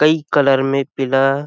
कोई कलर में पीला--